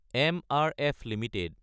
MRF Ltd